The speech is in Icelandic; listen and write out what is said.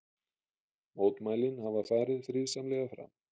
Mótmælin hafa farið friðsamlega fram